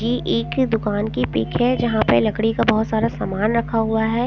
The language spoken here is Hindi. ये एक दुकान की पिक हैं जहाँ पर लकड़ी का बहुत सारा सामान रखा हुआ हैं ।